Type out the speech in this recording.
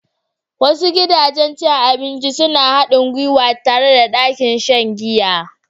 Wasu gidajen cin abinci suna haɗin gwiwa tare da ɗakin shan giya.